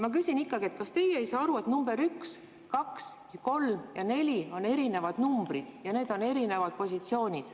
Ma küsin, kas teie ei saa aru, et numbrid üks, kaks, kolm ja neli on erinevad numbrid ja need on erinevad positsioonid.